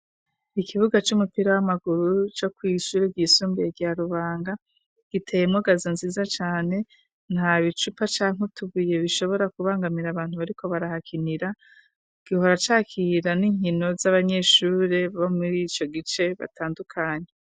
Ikibuga c'umupira w'amaguru co kw'ishuru ryisumbuye rya rubanga giteye mogaza nziza cane nta bicupa canke utubuye bishobora kubangamira abantu bariko barahakinira gihora cakira n'inkino z'abanyeshure bo muri ico gice batandukanye.